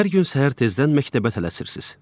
Hər gün səhər tezdən məktəbə tələsirsiz.